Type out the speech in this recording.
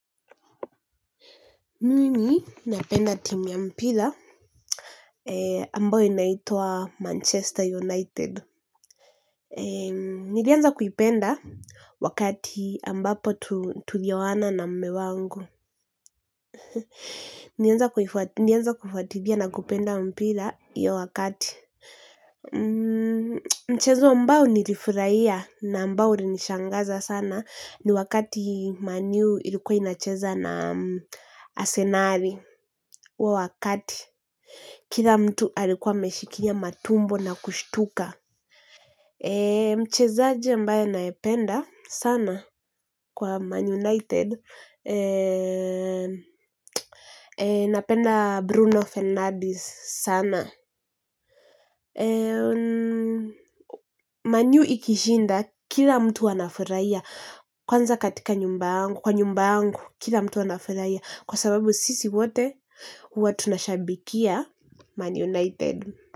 Mimi napenda timu ya mpira ambayo inaitwa Manchester United. Nilianza kuipenda wakati ambapo tulioana na mme wangu. Nilianza kufuatilia na kupenda mpira hiyo wakati. Mchezo ambao nilifurahia na ambao ulnishangaza sana ni wakati Man U ilikuwa inacheza na Asenali huo wakati. Kila mtu alikuwa ameshikilia matumbo na kushtuka. Mchezaji mbaye ninayependa sana kwa Man United. Napenda Bruno Fernandes sana. Man U ikishinda, kila mtu anafurahia. Kwanza katika nyumbangu, kwa nyumbangu, kila mtu wanafuraiya. Kwa sababu sisi wote, huwa tunashabikia Man United.